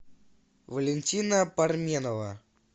валентина парменова